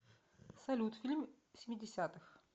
салют фильм семидесятых